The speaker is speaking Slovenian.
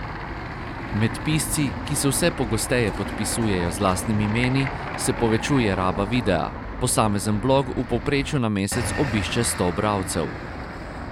Med pisci, ki se vse pogosteje podpisujejo z lastnimi imeni, se povečuje raba videa, posamezen blog v povprečju na mesec obišče sto bralcev.